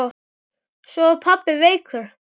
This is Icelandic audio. Svo var pabbi veikur.